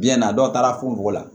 Biyɛn na dɔw taara fo la